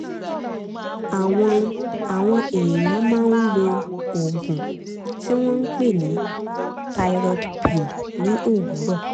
àwọn àwọn èèyàn máa ń lo oògùn tí wọ́n ń pè ní thyroid pill ní òwúrọ̀